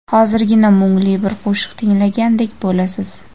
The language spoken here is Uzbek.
Hozirgina mungli bir qo‘shiq tinglagandek bo‘lasiz.